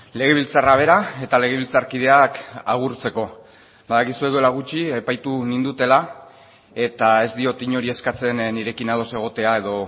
legebiltzarra bera eta legebiltzarkideak agurtzeko badakizue duela gutxi epaitu nindutela eta ez diot inori eskatzen nirekin ados egotea edo